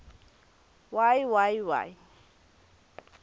y y y